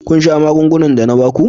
Kun sha magungunan da na ba ku?